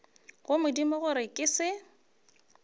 go modimo gore ke se